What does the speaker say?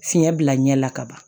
Fiɲɛ bila ɲɛ la ka ban